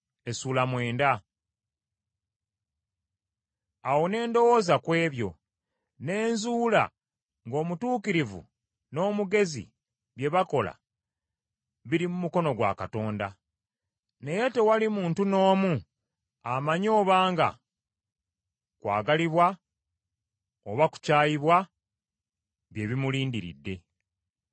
Awo ne ndowooza ku ebyo, ne nzuula ng’omutuukirivu n’omugezi bye bakola biri mu mukono gwa Katonda; naye tewali muntu n’omu amanyi obanga kwagalibwa oba kukyayibwa bye bimulindiridde.